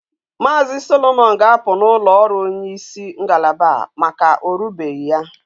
Maazi solomon ga apu na ulo oru onye is ngalaba a maka orubeghi ya